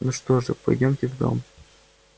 ну что же пойдёмте в дом